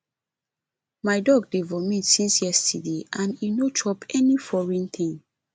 my dog dey vomit since yesterday and e no chop any foreign thing